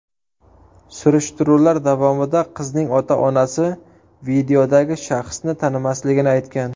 Surishtiruvlar davomida qizning ota-onasi videodagi shaxsni tanimasligini aytgan.